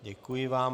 Děkuji vám.